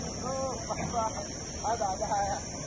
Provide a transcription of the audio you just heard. Heç vaxt heç vaxt, hayda ayə.